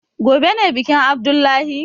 Gobe ne bikin abdullahi?